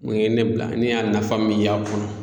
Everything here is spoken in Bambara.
Mun ye ne bila, ne y'a nafa min y'a kɔnɔ